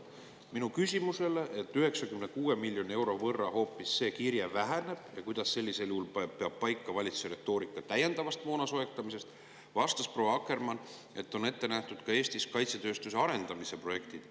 Minu küsimusele, et kui 96 miljoni euro võrra see kirje hoopis väheneb, kuidas sellisel juhul peab paika valitsuse retoorika täiendavast moona soetamisest, vastas proua Akkermann, et Eestis on ette nähtud kaitsetööstuse arendamise projektid.